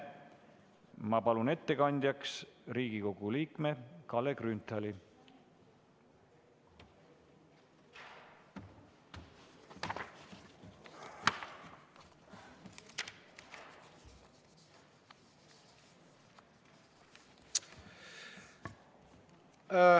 Ma palun ettekandjaks Riigikogu liikme Kalle Grünthali!